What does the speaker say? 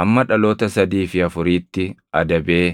hamma dhaloota sadii fi afuriitti adabee